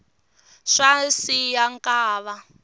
swa siya nkava